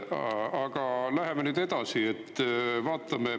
Aga läheme nüüd edasi.